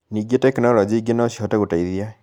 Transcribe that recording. Ningĩ, tekinoronjĩ ingĩ no cihote gũteithia